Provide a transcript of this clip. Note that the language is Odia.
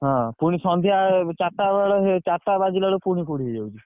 ହଁ ପୁଣି ସନ୍ଧ୍ୟା ଚାରିଟା ବେଳେ ଚାରିଟା ବାଜିଲା ବେଳକୂ ପୁଣି କୁହୁଡି ହେଇଯାଉଛି।